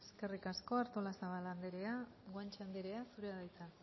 eskerrik asko artolazabal anderea guanche anderea zurea da hitza